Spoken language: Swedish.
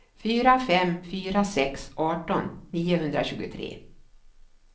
fyra fem fyra sex arton niohundratjugotre